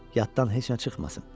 Yadından heç nə çıxmasın.